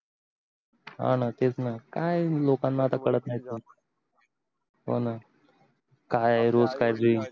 हा न तेच न काय हे लोकांना आता कळत नाही तर हो न काय हे रोज काळजी